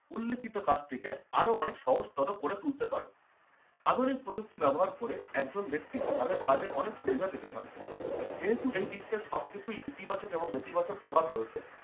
উল্লেখিত কাজটিকে আরো অনেক সহজতর করে তুলতে পারে। আধুনিক প্রযুক্তি ব্যবহার করে একজন ব্যক্তি তাদের কাজের অনেক সুবিধা পেতে পারে। যেহেতু এই বিশ্বের সবকিছুই ইতিবাচক এবং নেতিবাচক প্রভাব রয়েছে